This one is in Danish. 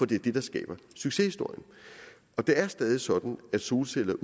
det er det der skaber succeshistorierne det er stadig sådan at solceller